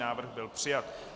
Návrh byl přijat.